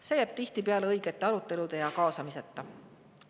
See jääb tihtipeale vajalike arutelude ja kaasamiseta.